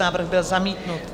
Návrh byl zamítnut.